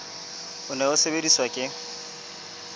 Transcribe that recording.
o ne o sebediswa ke